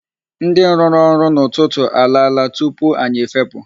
Ndị rụrụ ọrụ n'ụtụtụ alaala tupu anyị efepụ.